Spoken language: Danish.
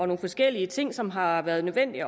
nogle forskellige ting som det har været nødvendigt